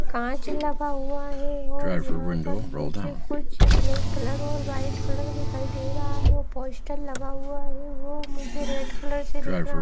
कांच लगा हुआ है और यहां पर मुझे कुछ ब्लैक कलर और व्हाइट कलर दिखाई दे रहा है पोस्टर लगा हुआ है वो मुझे रेड कलर से दिख रहा --